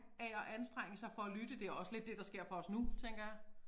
Af at anstrenge sig for at lytte det også lidt det der sker for os nu tænker jeg